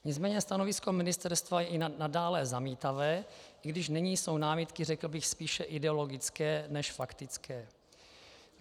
Nicméně stanovisko ministerstva je i nadále zamítavé, i když nyní jsou námitky, řekl bych, spíše ideologické než faktické.